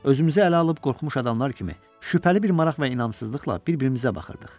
Özümüzü ələ alıb qorxmuş adamlar kimi şübhəli bir maraq və inamsızlıqla bir-birimizə baxırdıq.